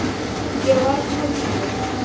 Ég var að koma úr bíó.